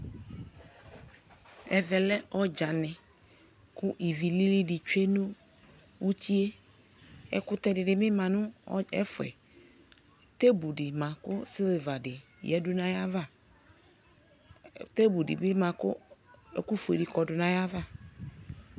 Ɛvɛ lɛ ɔdzanɩ kʋ ivilili dɩ tsue nʋ uti yɛ Ɛkʋtɛ dɩnɩ bɩ ma nʋ ɔdz ɛfɛ Tebl dɩ ma kʋ sɩlva dɩ yǝdu nʋ ayava Tebl dɩ bɩ ma kʋ ɛkʋfue dɩ kɔdʋ nʋ ayava